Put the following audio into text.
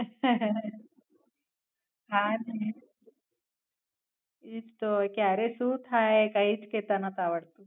હા જ ને. એ જ તો. ક્યારે શું થાય એ કઈ જ કેતા નતું આવડતું.